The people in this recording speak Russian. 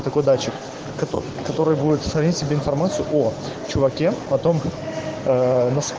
такой датчик который будет в себе информацию о чуваке потом